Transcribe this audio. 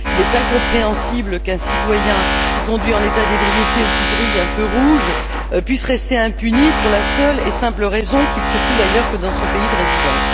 Il est incompréhensible qu'un citoyen, qui conduit en état d'ébriété ou qui grille un feu rouge, puisse rester impuni, pour la seule et simple raison qu'il circule ailleurs que dans son pays de résidence.